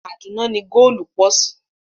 Kàdúná ni góòlù pọ̀ sí